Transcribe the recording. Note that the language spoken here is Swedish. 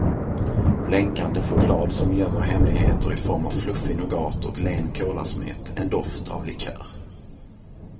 Blänkande choklad som gömmer hemligheter i form av fluffig nougat och len kolasmet, en doft av likör.